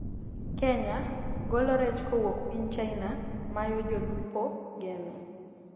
Kenya:golo rech kowuok piny china mayo jolupo geno